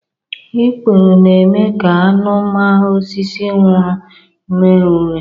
Ikpuru na-eme ka anụ ma osisi nwụrụ ree ure.